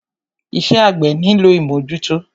Iṣẹ́ àgbẹ́ nílò ìmọ́jútọ́.